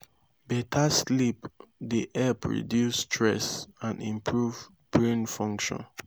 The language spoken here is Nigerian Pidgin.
beta sleep dey help reduce stress and improve brain function